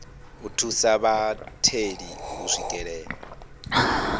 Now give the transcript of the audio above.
u thusa vhatheli u swikelela